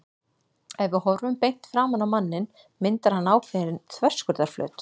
Ef við horfum beint framan á manninn myndar hann ákveðinn þverskurðarflöt.